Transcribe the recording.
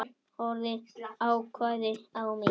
Konan horfði ákveðin á mig.